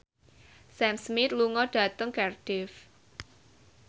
Sam Smith lunga dhateng Cardiff